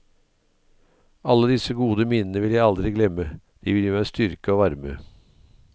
Alle disse gode minnene vil jeg aldri glemme, de vil gi meg styrke og varme.